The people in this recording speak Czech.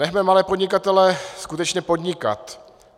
Nechme malé podnikatele skutečně podnikat.